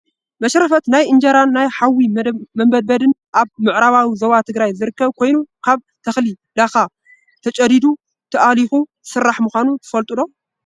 መሽረፈት ናይ እንጀራን ናይ ሓዊ መንበድበድን ኣብ ምዕራባዊ ዞባ ትግራይ ዝስራሕ ኮይኑ ካብ ተክሊ ላካ ተጨዲዱ ተኣሊኩ ዝስራሕ ምኳኑ ትፈልጡ ዶ?